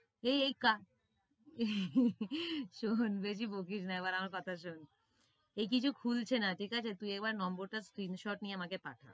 এই এই শোন বেশি বকিস না, এবার আমার কথা শোন এই কিছু খুলছে না ঠিক আছে তুই এবার নম্বরটা screen shot নিয়ে আমাকে পাঠা।